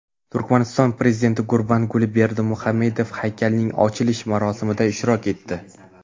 Turkmaniston prezidenti Gurbanguli Berdimuhammedov haykalning ochilish marosimida ishtirok etdi.